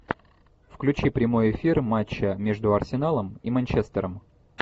включи прямой эфир матча между арсеналом и манчестером